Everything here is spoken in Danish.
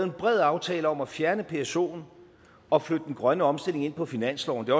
en bred aftale om at fjerne psoen og flytte den grønne omstilling ind på finansloven det